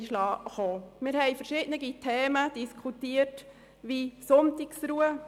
Wir haben verschiedene Themen diskutiert wie die Sonntagsruhe.